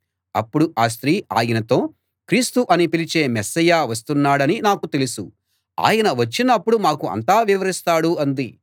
అప్పుడు ఆ స్త్రీ ఆయనతో క్రీస్తు అని పిలిచే మెస్సీయ వస్తున్నాడని నాకు తెలుసు ఆయన వచ్చినప్పుడు మాకు అంతా వివరిస్తాడు అంది